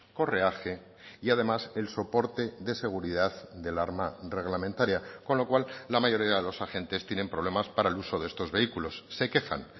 correaje y además el soporte de seguridad del arma reglamentaria con lo cual la mayoría de los agentes tienen problemas para el uso de estos vehículos se quejan